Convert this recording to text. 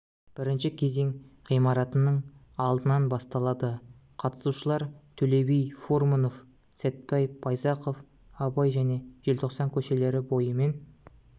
бірінші кезең ғимаратының алдынан басталады қатысушылар төле би фурманов сәтпаев байзақов абай және желтоқсан көшелері бойымен